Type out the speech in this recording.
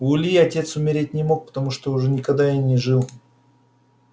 у ильи отец умереть не мог потому что уже никогда и не жил